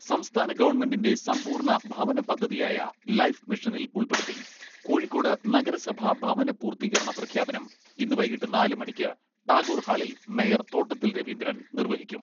സംസ്ഥാന ഗവൺമെന്റിന്റെ സമ്പൂർണ ഭവന പദ്ധതിയായ ലൈഫ് മിഷനിൽ ഉൾപ്പെടുത്തി കോഴിക്കോട് നഗരസഭാ ഭവന പൂർത്തീകരണ പ്രഖ്യാപനം ഇന്ന് വൈകീട്ട് നാല് മണിക്ക് ടാഗോർ ഹാളിൽ മേയർ തോട്ടത്തിൽ രവീന്ദ്രൻ നിർവഹിക്കും.